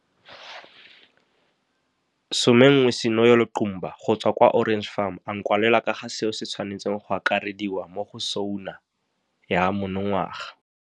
11 Sinoyolo Qumba go tswa kwa Orange Farm a nkwalela ka ga seo se tshwanetseng go akarediwa mo go SoNA ya monongwaga.